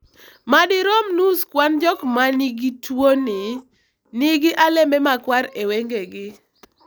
madirom nus kwan jok mangi tuoni, nigi alembe makwar e wengegi